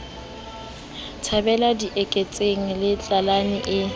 thabela dieketseng le tlalane e